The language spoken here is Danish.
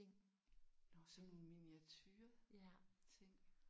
Nåh sådan nogle miniatureting?